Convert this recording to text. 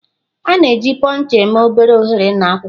A na-eji Puncher eme obere oghere na akwụkwọ.